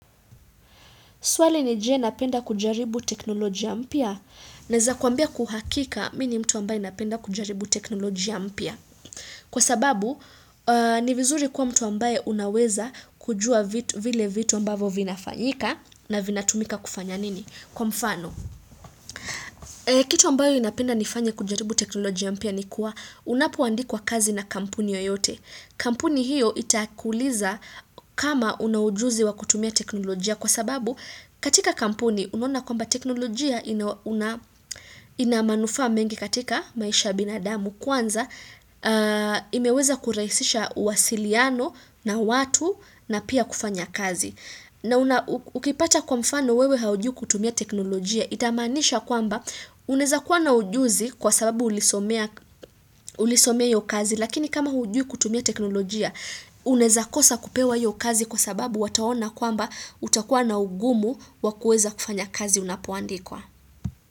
Swali ni je napenda kujaribu teknolojia mpya. Neza kuambia kuhakika mi ni mtu ambaye napenda kujaribu teknolojia mpya. Kwa sababu, ni vizuri kuwa mtu ambaye unaweza kujua vile vitu ambavo vinafanyika na vina tumika kufanya nini? Kwa mfano, kitu ambayo inapenda nifanya kujaribu teknolojia mpya ni kuwa unapoandikwa kazi na kampuni yoyote. Kampuni hiyo itakuuliza kama una ujuzi wa kutumia teknolojia. Kwa sababu katika kampuni unaona kwamba teknolojia ina manufaa mengi katika maisha binadamu kwanza imeweza kuraisisha wasiliano na watu na pia kufanya kazi. Na ukipata kwa mfano wewe haujui kutumia teknolojia. Itamaanisha kwamba unezakuwa na ujuzi kwa sababu ulisomea hiyo kazi lakini kama hujui kutumia teknolojia unezakosa kupewa hiyo kazi kwa sababu wataona kwamba utakuwa na ugumu wakueza kufanya kazi unapoandikwa.